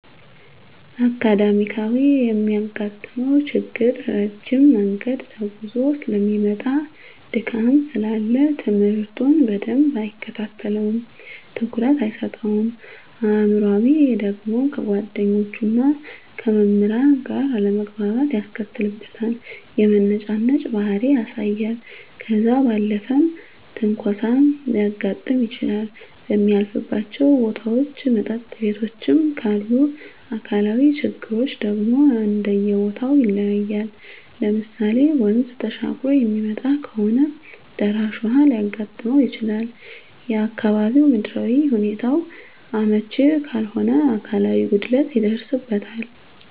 አካዳሚካያዊ የሚያጋጥመው ችግር ረጅም መንገድ ተጉዞ ሰለሚመጣ ድካም ስላለ ትምህርቱን በደንብ አይከታተለውም ትኩረት አይሰጠውም። አእምሯዊ ደግሞ ከጓደኞቹና ከመምህራን ጋር አለመግባባት ያስከትልበታል የመነጫነጭ ባህሪ ያሳያል። ከዛ ባለፈም ትንኮሳም ሊያጋጥም ይችላል በሚያልፍባቸው ቦታዎች መጠጥ ቤቶችም ካሉ። አካላዊ ችግሮች ደግሞ እንደየቦተው ይለያያል ለምሳሌ ወንዝ ተሻግሮ የሚመጣ ከሆነ ደራሽ ውሀ ሊያጋጥመው ይችላል፣ የአካባቢው ምድራዊ ሁኔታው አመች ካልሆነ አካላዊ ጉድለት ይደርስበታል።